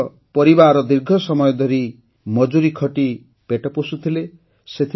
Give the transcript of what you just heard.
ତାଙ୍କର ପରିବାର ଦୀର୍ଘ ସମୟ ଧରି ମଜୁରୀ ଖଟି ପେଟ ପୋଷୁଥିଲେ